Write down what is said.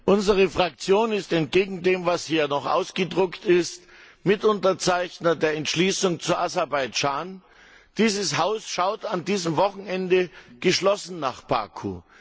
Unsere Fraktion ist entgegen dem, was hier ausgedruckt ist, Mitunterzeichner der Entschließung zu Aserbaidschan. Dieses Haus schaut an diesem Wochenende geschlossen nach Baku.